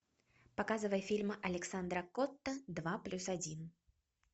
показывай фильм александра котта два плюс один